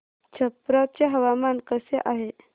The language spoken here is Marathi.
छप्रा चे हवामान कसे आहे